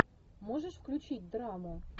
можешь включить драму